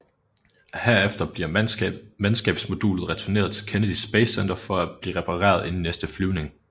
Herefter bliver mandskabsmodulet returneret til Kennedy Space Center for at blive repareret inden næste flyvning